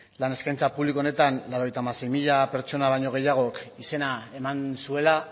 lan eskaintza publiko honetan laurogeita hamasei mila pertsona baino gehiagok izena eman zuela